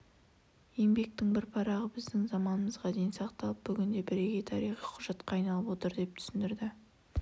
еңбектің бір парағы біздің заманымызға дейін сақталып бүгінде бірегей тарихи құжатқа айналып отыр деп түсіндірді